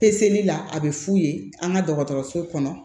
Peseli la a bɛ f'u ye an ka dɔgɔtɔrɔso kɔnɔ